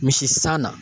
Misi san na